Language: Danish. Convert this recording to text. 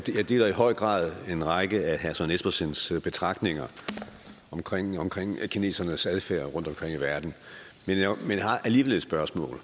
deler i høj grad en række af herre søren espersens betragtninger omkring omkring kinesernes adfærd rundtomkring i verden men jeg har alligevel et spørgsmål